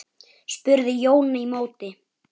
spurði Jón í móti.